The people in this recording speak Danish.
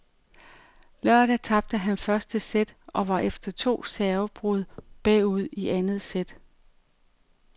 Lørdag tabte han første sæt og var efter to servebrud bagud i andet sæt.